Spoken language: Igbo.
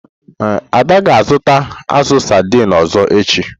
Ada ga-azụta azu saidini ọzọ echi.